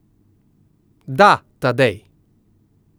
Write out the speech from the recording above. Da, Tadej.